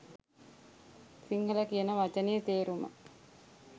සිංහල කියන වචනයෙ තේරුම